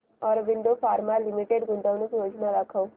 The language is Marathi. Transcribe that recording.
ऑरबिंदो फार्मा लिमिटेड गुंतवणूक योजना दाखव